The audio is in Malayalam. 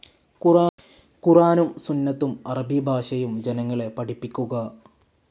ഖുറാനും സുന്നത്തും അറബി ഭാഷയും ജനങ്ങളെ പഠിപ്പിക്കുക.